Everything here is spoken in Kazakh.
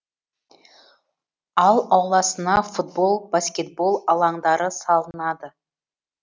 ал ауласына футбол баскетбол алаңдары салынады